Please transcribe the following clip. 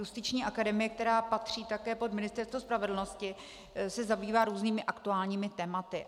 Justiční akademie, která patří také pod Ministerstvo spravedlnosti, se zabývá různými aktuálními tématy.